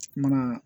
Mana